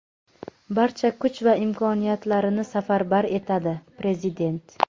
barcha kuch va imkoniyatlarini safarbar etadi – Prezident.